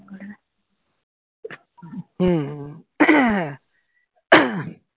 হম হম